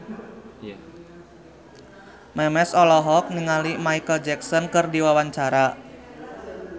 Memes olohok ningali Micheal Jackson keur diwawancara